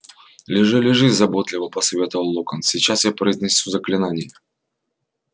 лежи лежи заботливо посоветовал локонс сейчас я произнесу заклинание